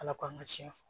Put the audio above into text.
Ala k'an ka tiɲɛ fɔ